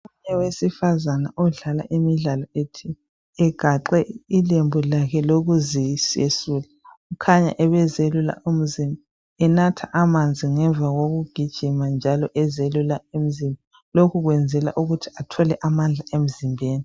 Owesilisa odlala imidlalo ethile, egaqe ilembu lukuziyesula. Kukhanya ebeziyelula umzimba enatha amanzi ngemva kwokugijima njalo eziyelula umzimba. Lokho okwenzela ukuthi athole amandla emzimbeni.